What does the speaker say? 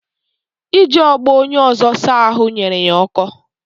Iji ogbo onye ọzọ saa ahụ nyere ya ọkọ